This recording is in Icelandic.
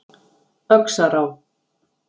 Öxará